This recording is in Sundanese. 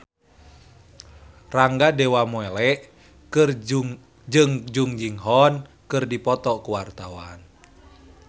Rangga Dewamoela jeung Jung Ji Hoon keur dipoto ku wartawan